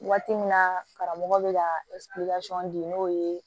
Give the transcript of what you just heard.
Waati min na karamɔgɔ bɛ ka di n'o ye